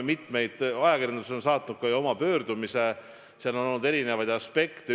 Ajakirjandus on saatnud ju oma pöördumise, seal on olnud eri aspekte.